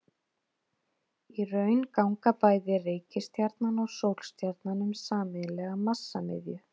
Í raun ganga bæði reikistjarnan og sólstjarnan um sameiginlega massamiðju.